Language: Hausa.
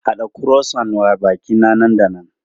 Haɗa Croissant wa baƙi na nan da nan!